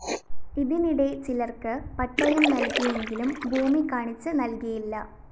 ഇതിനിടെ ചിലര്‍ക്ക് പട്ടയം നല്‍കിയെങ്കിലും ഭൂമി കാണിച്ച് നല്‍കിയില്ല